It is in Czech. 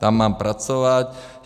Tam mám pracovat.